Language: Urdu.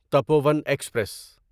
ٹپوؤں ایکسپریس